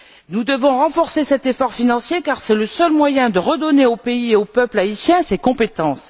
Nous devons renforcer cet effort financier car c'est le seul moyen de redonner au pays et au peuple haïtien ses compétences.